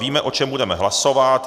Víme, o čem budeme hlasovat.